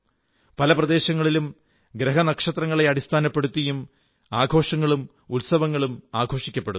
പല പ്രദേശങ്ങളിലും ഗ്രഹനക്ഷത്രങ്ങളെ അടിസ്ഥാനപ്പെടുത്തിയും ആഘോഷങ്ങളും ഉത്സവങ്ങളും ആഘോഷിക്കപ്പെടുന്നു